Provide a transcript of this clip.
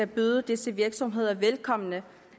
byder disse virksomheder velkommen